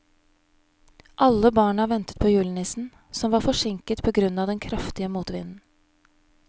Alle barna ventet på julenissen, som var forsinket på grunn av den kraftige motvinden.